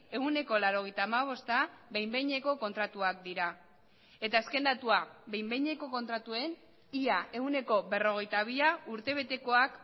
ehuneko laurogeita hamabosta behin behineko kontratuak dira eta azken datua behin behineko kontratuen ia ehuneko berrogeita bia urtebetekoak